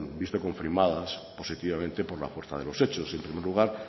visto confirmadas positivamente por la fuerza de los hechos en primer lugar